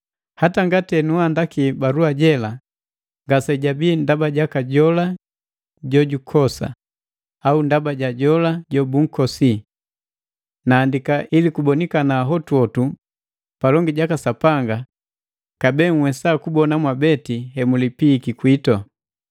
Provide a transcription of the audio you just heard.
Hata ngati enuandaki balua jela, ngase jabii ndaba jaka jola jojukosa, au ndaba ja jola jobunkosi. Naandika ili kubonikana hotuhotu palongi jaka Sapanga nunhwesa kubona mwabeti hemulipihiki kwitu.